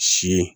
Si